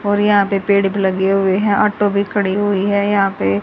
और यहां पे पेड़ भी लगे हुए हैं ऑटो भी खड़ी हुई है यहां पे।